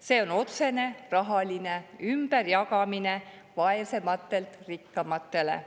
See on otsene raha ümberjagamine vaesematelt rikkamatele.